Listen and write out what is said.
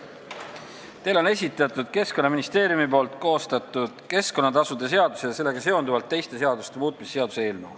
Teile on esitatud Keskkonnaministeeriumi koostatud keskkonnatasude seaduse ja sellega seonduvalt teiste seaduste muutmise seaduse eelnõu.